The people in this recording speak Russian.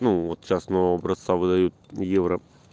ну вот сейчас нового образца выдают евро